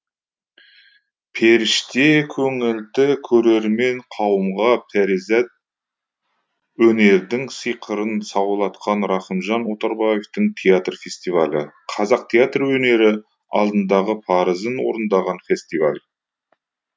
періште көңілді көрермен қауымға перизат өнердің сиқырын саулатқан рахымжан отарбаевтың театр фестивалі қазақ театр өнері алдындағы парызын орындаған фестиваль